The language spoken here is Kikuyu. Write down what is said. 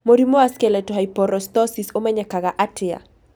Mũrimũ wa skeletal hyperostosis ũmenyekaga atĩa?